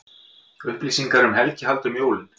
Upplýsingar um helgihald um jólin